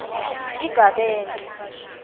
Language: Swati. igabence